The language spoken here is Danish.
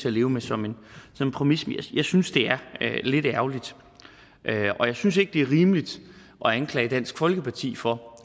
at leve med som en præmis men jeg synes det er lidt ærgerligt og jeg synes ikke det er rimeligt at anklage dansk folkeparti for